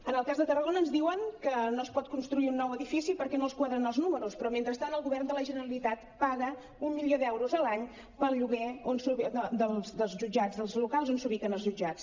en el cas de tarragona ens diuen que no es pot construir un nou edifici perquè no els quadren els números però mentrestant el govern de la generalitat paga un milió d’euros a l’any pel lloguer dels jutjats dels locals on s’ubiquen els jutjats